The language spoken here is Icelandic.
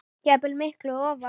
jafnvel miklu ofar.